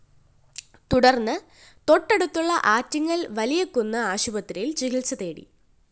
തുടര്‍ന്ന് തൊട്ടടുത്തുള്ള ആറ്റിങ്ങല്‍ വലിയകുന്ന് ആശുപത്രിയില്‍ ചികിത്സ തേടി